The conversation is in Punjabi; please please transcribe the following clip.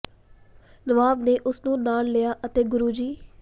ਨਵਾਬ ਨੇ ਉਸ ਨੂੰ ਨਾਲ ਲਿਆ ਅਤੇ ਗੁਰੂ ਜੀ